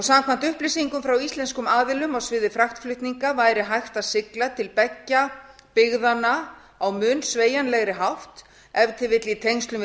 samkvæmt upplýsingum frá íslenskum aðilum á sviði fraktflutninga væri hægt að sigla til beggja byggðanna á mun sveigjanlegri hátt ef til vill í tengslum við